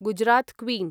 Gujarat queen